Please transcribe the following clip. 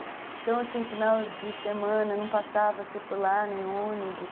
Então, assim, final de semana, não passava circular nem ônibus.